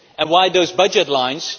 And why those budget lines?